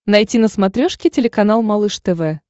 найти на смотрешке телеканал малыш тв